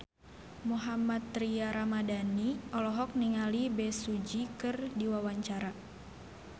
Mohammad Tria Ramadhani olohok ningali Bae Su Ji keur diwawancara